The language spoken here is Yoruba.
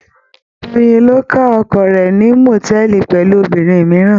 Doyin ló ká oko rẹ̀ ní mòtẹ́ẹ́lì pẹ̀lú obìnrin mìíràn.